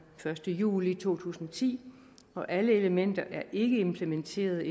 første juli to tusind og ti og alle elementer er endnu ikke implementeret